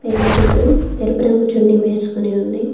పెళ్లికూతురు ఎరుపురంగు చున్నీ వేసుకొని ఉంది.